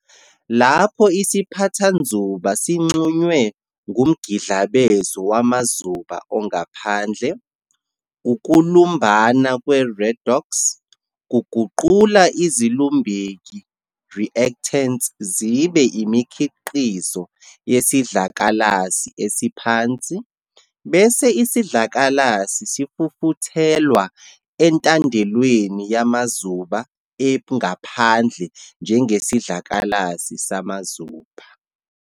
Lapho isiphathanzuba sixhunywe kumgidlabezo wamazuba ongaphandle, ukulumbana kwe, "redox", kuguqula izilumbeki, "reactants", zibe imikhiqizo yesidlakalasi esiphansi, bese isidlakalasi sifufuthelwa entandelweni yamazuba engaphandle njengesidlakalasi samazuba.